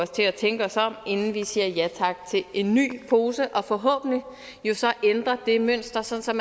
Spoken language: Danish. til at tænke os om inden vi siger ja tak til en ny pose og forhåbentlig ændrer det mønster sådan